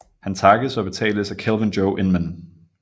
Han takkes og betales af Kelvin Joe Inman